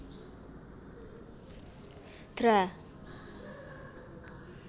Dra